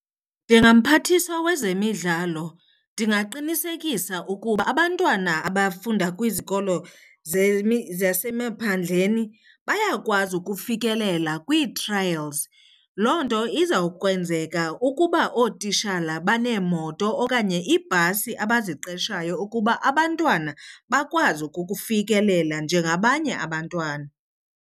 NjengaMphathiswa wezeMidlalo ndingaqinisekisa ukuba abantwana abafunda kwizikolo zasemaphandleni bayakwazi ukufikelela kwii-trials. Loo nto izawukwenzeka ukuba ootishala baneemoto okanye iibhasi abaziqeshayo ukuba abantwana bakwazi ukukufikelela njengabanye abantwana.